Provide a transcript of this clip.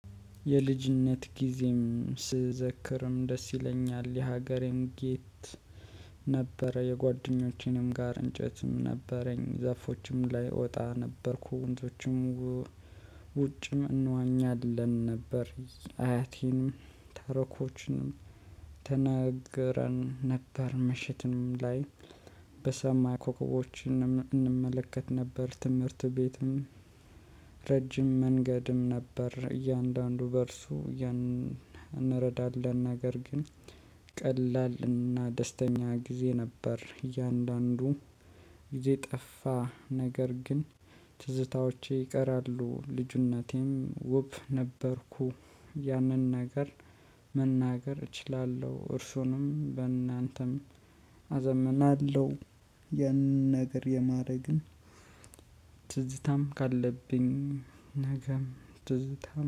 የልጅነት ጊዜም ስዘክርም ደስ ይለኛል። የሀገሬም ጌት ነበረ የጓደኞቼንም ጋር እንጨትም ነበረኝ ዛፎችም ላይ እወጣ ነበርኩ። ወንዶችም ውጭም እንዋኛለን ነበር። አያቴንም ታሪኮችንም ትነገረን ነበር። ምሽትም ላይ በሰማይ ኮከቦች እንመለከት ነበር። ትምህርት ቤትም ረጅም መንገድም ነበር። እያንዳንዱ በእርሱ እንረዳለን ነገር ግን ቀላል እና ደስተኛ ጊዜ ነበር። እያንዳንዱ ጊዜ ጠፋ ነገር ግን ትዝታዎቼ ይቀራሉ። ልጁነቴም ውብ ነበርኩ ያንን ነገር መናገር እችላለሁ። እርሱንም በእናንተም አዘምናለሁ። የነገር የማድረግም ትዝታም ካለብኝ ነገም ትዝታም